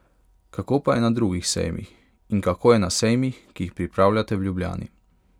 Kako pa je na drugih sejmih in kako je na sejmih, ki jih pripravljate v Ljubljani?